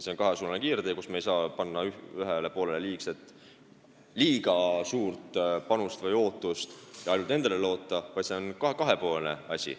See on kahesuunaline kiirtee, kus me ei saa panna ühele poolele liiga suurt panust või ootust ja ainult nendele loota, vaid see on kahe poole asi.